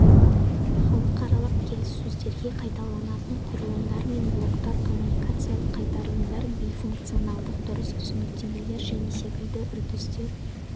халықаралық келіссөздерде қайталанатын құрылымдар мен блоктар коммуникациялық қайтарылымдар бейфункционалдық дұрыс түсініктемелер және секілді үрдістер